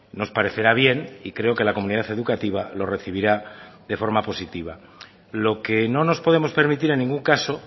nos parecerá bien y creo que la comunidad educativa lo recibirá de forma positiva lo que no nos podemos permitir en ningún caso